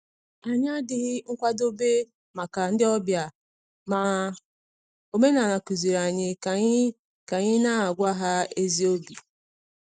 Anyị adịghị nkwadobe maka ndị ọbịa, ma omenala kụziiri anyị ka anyị ka anyị na-agwa ha ezi obi.